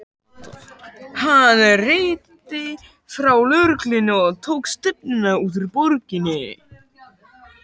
Hann renndi frá lögreglustöðinni og tók stefnuna út úr borginni.